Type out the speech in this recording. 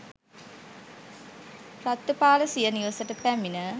රට්ඨපාල සිය නිවසට පැමිණ